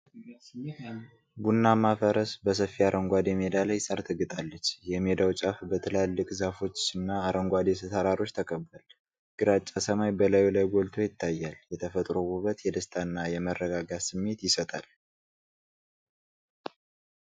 ቡናማ ፈረስ፣ በሰፊ አረንጓዴ ሜዳ ላይ ሣር ትግጣለች። የሜዳው ጫፍ በትላልቅ ዛፎችና አረንጓዴ ተራሮች ተከቧል፤ ግራጫ ሰማይ በላዩ ላይ ጎልቶ ይታያል። የተፈጥሮው ውበት የደስታና የመረጋጋት ስሜት ይሰጣል።